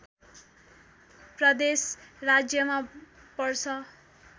प्रदेश राज्यमा पर्छ